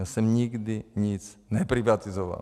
Já jsem nikdy nic neprivatizoval.